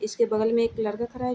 इसके बगल में एक लड़का खरा है।